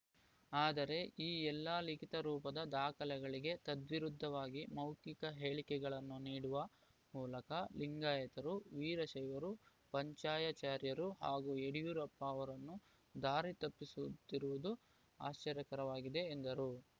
ಆದರೆ ಈ ಎಲ್ಲಾ ಲಿಖಿತ ರೂಪದ ದಾಖಲೆಗಳಿಗೆ ತದ್ವಿರುದ್ಧವಾಗಿ ಮೌಖಿಕ ಹೇಳಿಕೆಗಳನ್ನು ನೀಡುವ ಮೂಲಕ ಲಿಂಗಾಯತರು ವೀರಶೈವರು ಪಂಚಾಯಚಾರ್ಯರು ಹಾಗೂ ಯಡಿಯೂರಪ್ಪ ಅವರನ್ನು ದಾರಿತಪ್ಪಿಸುತ್ತಿರುವುದು ಆಶ್ಚರ್ಯಕರವಾಗಿದೆ ಎಂದರು